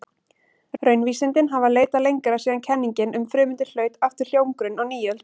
Raunvísindin hafa leitað lengra síðan kenningin um frumeindir hlaut aftur hljómgrunn á nýöld.